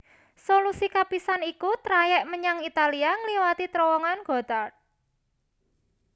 Solusi kapisan iku trayèk menyang Italia ngliwati Trowongan Gotthard